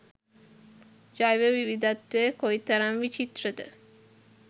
ජෛව විවිධත්වය කොයිතරම් විචිත්‍රද.